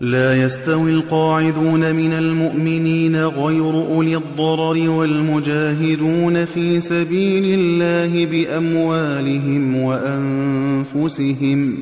لَّا يَسْتَوِي الْقَاعِدُونَ مِنَ الْمُؤْمِنِينَ غَيْرُ أُولِي الضَّرَرِ وَالْمُجَاهِدُونَ فِي سَبِيلِ اللَّهِ بِأَمْوَالِهِمْ وَأَنفُسِهِمْ ۚ